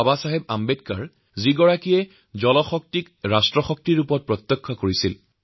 বাবাচাহেব আম্বেদকাৰ জলশক্তিকে ৰাষ্ট্ৰশক্তিৰ সমাৰ্থক বুলি বিশ্বাস কৰিছিল